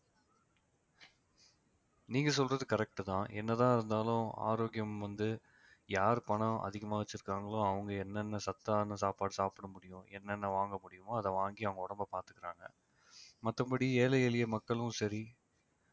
நீங்க சொல்றது correct தான் என்னதான் இருந்தாலும் ஆரோக்கியம் வந்து யார் பணம் அதிகமா வச்சிருக்காங்களோ அவங்க என்னென்ன சத்தான சாப்பாடு சாப்பிட முடியும் என்னென்ன வாங்க முடியுமோ அதை வாங்கி அவங்க உடம்பை பார்த்துக்கிறாங்க மத்தபடி ஏழை எளிய மக்களும் சரி